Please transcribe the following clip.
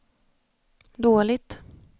dåligt